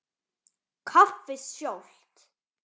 Kaffið sjálft.